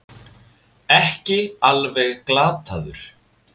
Ekki alveg glataður